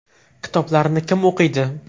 Kitoblarni kim o‘qiydi?